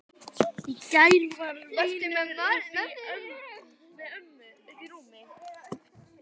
Jón, Anna Björk og synir.